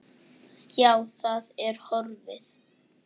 Já, það er horfið.